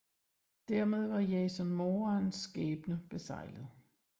Dermed var Jason Morans skæbne beseglet